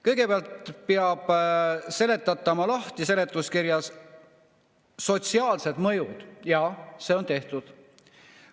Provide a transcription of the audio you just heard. Kõigepealt peab seletuskirjas lahti seletama sotsiaalsed mõjud ja see on tehtud.